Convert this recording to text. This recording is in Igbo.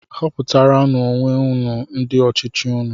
Họputaranú onwe unu ndị ọchịchị unu!